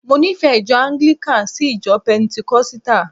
Mo nífẹ̀ẹ́ ìjọ anglikani sí ìjọ pentenkosita